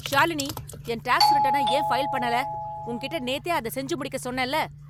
ஷாலினி, என் டாக்ஸ் ரிட்டர்னை ஏன் ஃபைல் பண்ணல? உன்கிட்ட நேத்தே அதை செஞ்சு முடிக்க சொன்னேன்ல.